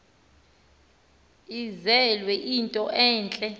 enzelwe into entle